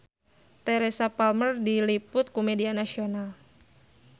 Teresa Palmer diliput ku media nasional